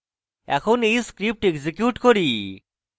এখন এই script execute করি